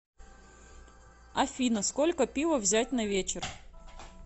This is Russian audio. афина сколько пива взять на вечер